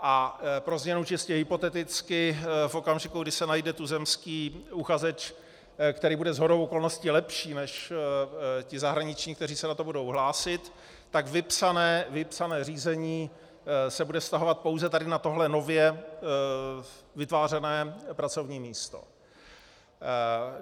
A pro změnu čistě hypoteticky v okamžiku, kdy se najde tuzemský uchazeč, který bude shodou okolností lepší než ti zahraniční, kteří se na to budou hlásit, tak vypsané řízení se bude vztahovat pouze tady na tohle nově vytvářené pracovní místo.